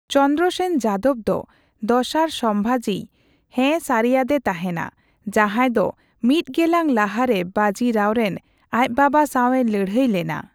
ᱪᱚᱱᱫᱨᱚᱥᱮᱱ ᱡᱟᱫᱚᱵ ᱫᱚ ᱫᱚᱥᱟᱨ ᱥᱚᱢᱣᱟᱡᱤᱭ ᱦᱸᱮ ᱥᱟᱹᱨᱤᱭᱟᱫᱮ ᱛᱟᱦᱮᱱᱟ, ᱡᱟᱦᱟᱭ ᱫᱳ ᱢᱤᱛ ᱜᱮᱞᱟᱝ ᱞᱟᱦᱟᱨᱮ ᱵᱟᱡᱤᱨᱟᱣᱨᱮᱱ ᱟᱪ ᱵᱟᱵᱟ ᱥᱟᱣᱼᱮ ᱞᱟᱹᱲᱦᱟᱹᱭ ᱞᱮᱱᱟ ᱾